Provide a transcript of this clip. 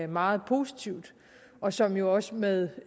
meget positivt og som jo også med